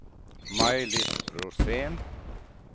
Maj-Lis Rosén